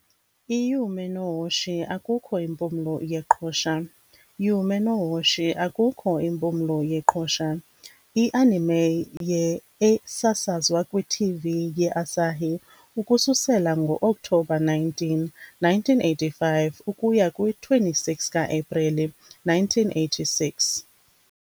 " I-Yume no Hoshi akukho Impumlo yeqhosha ". Yume no Hoshi akukho Impumlo yeqhosha. I-anime ye esasazwa kwi -TV ye-Asahi ukususela ngo-Oktobha 19, 1985 ukuya kwi-26 ka-Aprili 1986 .